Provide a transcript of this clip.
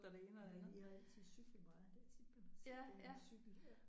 Men I har altid cyklet meget det er tit man har set det en cykel ja